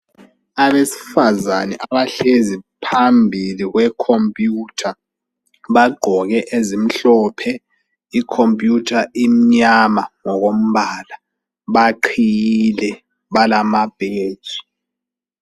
Abesfazane abahlezi phambili kwekhompuyutha, bagqoke ezimhlophe, ikhompuyutha imnyama ngokombala. Baqhiyile, balamabheji.